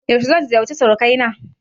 Yaushe zan ziyarce suruƙanai na?